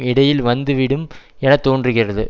இடையில் வந்துவிடும் என தோன்றுகிறது